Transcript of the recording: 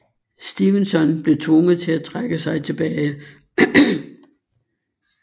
Stevenson blev tvunget til at trække sig tilbage